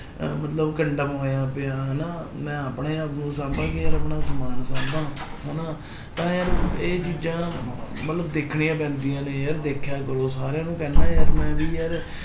ਅਹ ਮਤਲਬ ਕੰਡਮ ਹੋਇਆਂ ਪਿਆ ਹਨਾ ਮੈਂ ਆਪਣੇ ਆਪ ਨੂੰ ਸਾਂਭਾ ਕਿ ਯਾਰ ਆਪਣਾ ਸਮਾਨ ਸਾਂਭਾ ਹਨਾ ਤਾਂ ਯਾਰ ਇਹ ਚੀਜ਼ਾਂ ਮਤਲਬ ਦੇਖਣੀਆਂ ਪੈਂਦੀਆਂ ਨੇ ਯਾਰ ਦੇਖਿਆ ਕਰੋ ਸਾਰਿਆਂ ਨੂੰ ਕਹਿਨਾ ਯਾਰ ਮੈਂ ਵੀ ਯਾਰ